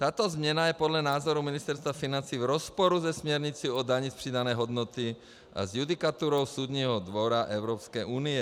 Tato změna je podle názoru Ministerstva financí v rozporu se směrnicí o dani z přidané hodnoty a s judikaturou Soudního dvora Evropské unie.